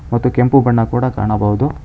ಅದು ಕೆಂಪು ಬಣ್ಣ ಕೂಡ ಕಾಣಬಹುದು.